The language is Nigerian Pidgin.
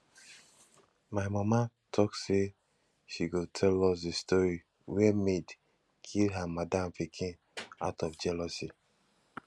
my mama talk say she go tell us the story where maid kill her madam pikin out of jealousy